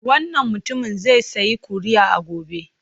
Wannan mutumin zai sayi kuri'a gobe.